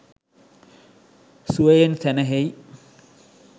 සුවයෙන් සැනැහෙයි.